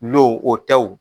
Lo o tɛ wo